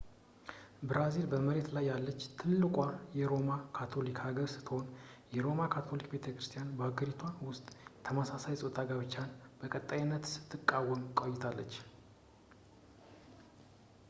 ብራዚል በመሬት ላይ ያለች ትልቋ የሮማ ካቶሊክ ሀገር ስትሆን የሮማ ካቶሊክ ቤተክርስቲያንም በሀገሪቷ ውስጥ የተመሳሳይ ፆታ ጋብቻን በቀጣይነት ስትቃወም ቆይታለች